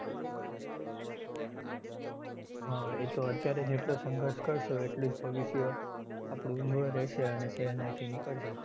હમ એ તો અત્યારે જેટલો સંઘર્ષ કરશો એટલું ભવિષ્ય આપણું ઉજ્જવળ રેહશે અને સેહલાઈ થી નીકળશે.